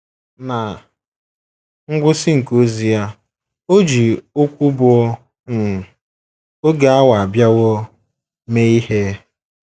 Ná ngwụsị nke ozi ya, o ji okwu bụ́ “ um oge awa abịawo ” mee ihe.